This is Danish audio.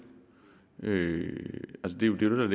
miljøet ville